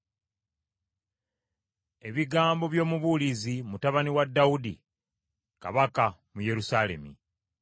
Ebigambo by’Omubuulizi, mutabani wa Dawudi kabaka mu Yerusaalemi.